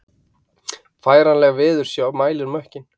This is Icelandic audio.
Færanleg veðursjá mælir mökkinn